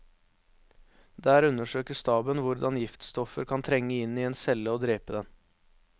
Der undersøker staben hvordan giftstoffer kan trenge inn i en celle og drepe den.